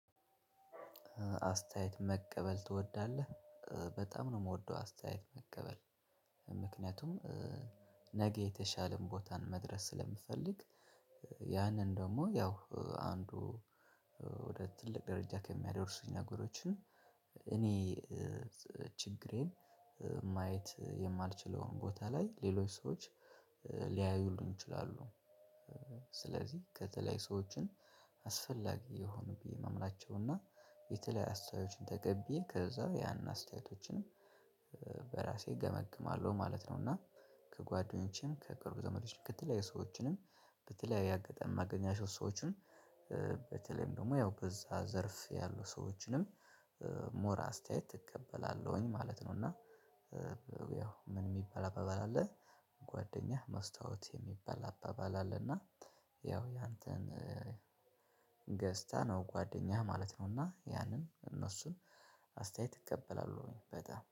አስታየት መቀበል ትወዳለህ በጣም ነው የምወደው አስተያየት መቀበል፤ ምክንያቱም ነገ የተሻለን ቦታን መድረስ ስለምፈልግ። ያንን ደግሞ ያው አንዱ ወደ ትልቅ ደረጃ ከሚያደርሱኝ ነገሮች እኔ ችግሬን ማየት የማልችለውን ቦታ ላይ ሌሎች ሰዎች ሊያዩሉን ይችላሉ። ስለዚህ ከተለያዩ ሰዎችን አስፈላጊ የሆኑ ብዬ ማምናቸው እና የተለያዩ አስታዬቶችን ተቀቢዬ ከዛ ያንን አስታዬቶችን በራሴ ገመግማለሁ ማለት ነው። እና ከጓደኞቼም ከቅርብ ዘመዶችም ከተለያዩ ሰዎችንም በተለያየ አጋጣሚ ማገኛቸው ሰዎችም በተለይም ደግሞ ያው በዛ ዘርፍ ያሉ ሰዎችንም ሞር አስታየት እቀበላለሁኝ ማለት ነው፤ እና ያው ምን የሚባል አባባል አለ። ጓደኛህ መስታወት የሚባል አባባል አለና ያው ያንተን ገጽታ ነው ጓደኛህ ማለት ነውና ያንን እነሱን አስታየት እቀበላለሁኝ በጣም